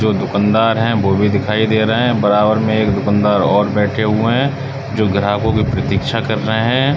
जो दुकानदार है वो भी दिखाई दे रहे हैं। बराबर में एक दुकानदार और बैठे हुए हैं जो ग्राहकों की प्रतीक्षा कर रहे हैं।